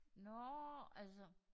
Nårh altså